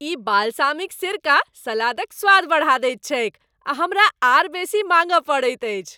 ई balsamic सिरका सलादक स्वाद बढ़ा दैत छैक आ हमरा आर बेसी माङ्गय पड़ैत अछि।